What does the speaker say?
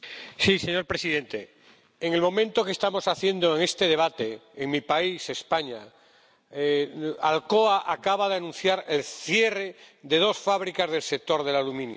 Señor presidente, en el momento en que estamos haciendo este debate, en mi país —España—, Alcoa acaba de anunciar el cierre de dos fábricas del sector del aluminio.